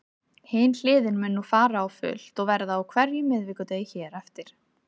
Hin hliðin mun nú fara á fullt og verða á hverjum miðvikudegi hér með.